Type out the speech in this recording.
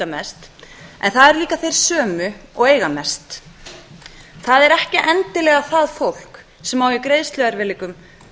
mest en það eru líka þeir sömu og eiga mest það er ekki endilega það fólk sem á í greiðsluerfiðleikum